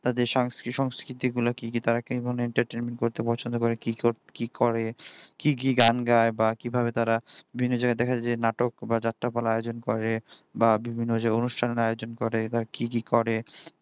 তাদের সংস্কৃতি গুলো কি কি তারা কি ধরনের entertainment করতে পছন্দ করে কি করে কি কি গান গায় বা কিভাবে তারা দিনে যারা দেখা যায় নাটক বা যাত্রাপালার আয়োজন করে বা বিভিন্ন যে অনুষ্ঠানের আয়োজন করে বা কি কি করে